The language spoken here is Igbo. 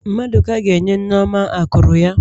Mmaduka ga-enye Nneoma akụrụ ya.